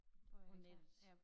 På nettet